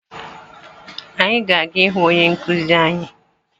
Anyị ga-aga ịhụ onye nkuzi anyi